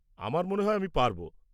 আমার মনে হয় আমি পারব।